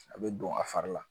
A bɛ don a fari la